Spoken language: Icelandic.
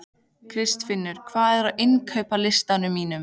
Kristfinnur, hvað er á innkaupalistanum mínum?